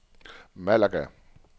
Malaga